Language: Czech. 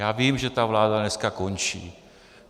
Já vím, že ta vláda dneska končí.